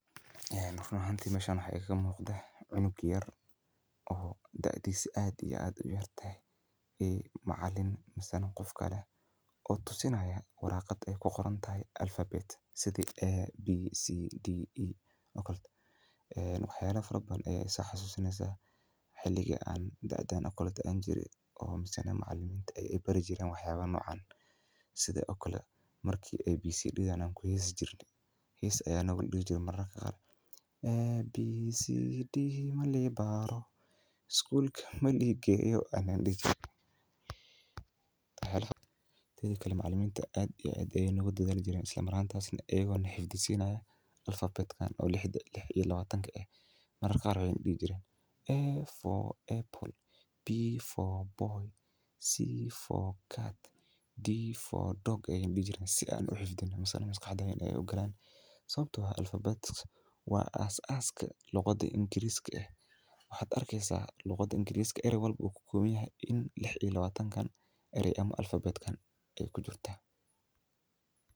Run ahaanti meesha waxaa ii ga muuqda cunug sait uyar iyo macalin oo tusini haayo warqad aay kuqoran tahay abcd wax badan ayeey isoo xasusineysa marmar qaar waan ku heesi jirne si aan uxifdino oo aay maskaxdeyda ugasho macaliminta sait ayeey noogu dadaali jireen.